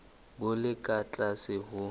bo le ka tlase ho